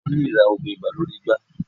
Èeàyàn lè ra oògun ibà lórí igbá.